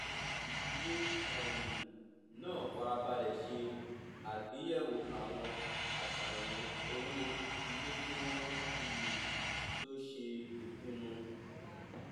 ìdílé um náà fara balẹ ṣe àgbeyẹwò àwọn àṣàyàn owó ilé kí wọn um tó ṣe ìpinnu